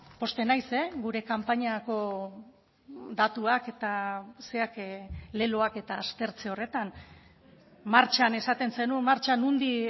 pozten naiz gure kanpainako datuak eta zerak leloak eta martxan esaten zenuen martxa